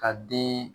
Ka den